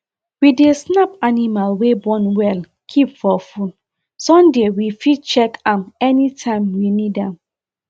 we dey snap animals wey born well keep for phone sunday we fit check am anytime we need am